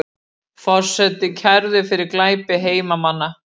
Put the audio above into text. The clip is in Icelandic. Forseti kærður fyrir glæpi hermanna